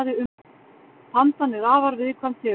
Pandan er afar viðkvæm tegund.